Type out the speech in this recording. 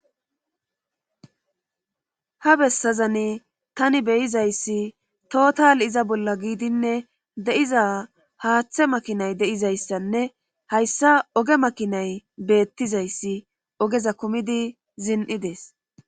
Ha bessazani tani beyizayssi total iza bolla giidinne de'iza haaththe makinay de'izayssanne hayssa oge makinay beettizayssi ogeza kumidi zin'i dees.